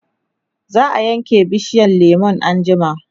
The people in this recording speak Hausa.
zaa Yanke bishiyar lemun anjima